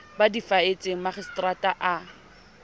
ba di faetseng makgistrata a